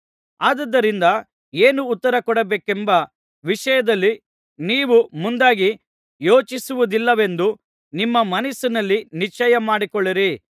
ಆದುದರಿಂದ ಏನು ಉತ್ತರ ಕೊಡಬೇಕೆಂಬ ವಿಷಯದಲ್ಲಿ ನೀವು ಮುಂದಾಗಿ ಯೋಚಿಸುವುದಿಲ್ಲವೆಂದು ನಿಮ್ಮ ಮನಸ್ಸಿನಲ್ಲಿ ನಿಶ್ಚಯಮಾಡಿಕೊಳ್ಳಿರಿ